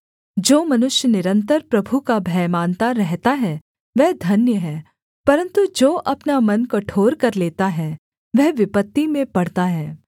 जो मनुष्य निरन्तर प्रभु का भय मानता रहता है वह धन्य है परन्तु जो अपना मन कठोर कर लेता है वह विपत्ति में पड़ता है